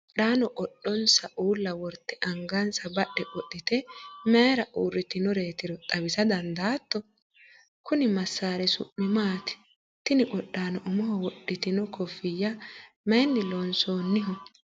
qodhaano qodhonsa uulla worte angansa badhe qo'lite mayiira uurritinotero xawisa dandaatto? kunni masaari su'mi maati? tini qodhaano umoho wodhitino kofiyyi mayiinni loonsoonniho?